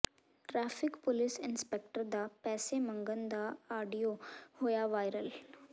traffic police inspector ਦਾ ਪੈਸੇ ਮੰਗਣ ਦਾ ਆਡੀਓ ਹੋਇਆ ਵਾਇਰਲ